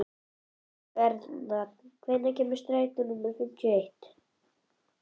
Bernharð, hvenær kemur strætó númer fimmtíu og eitt?